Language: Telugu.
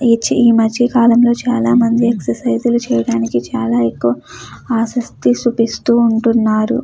ఈ మధ్యకాలంలోనే చాలామంది ఎక్సర్సైజులు చేయడానికి ఎక్కువగా ఆశ చూపిస్తున్నారు.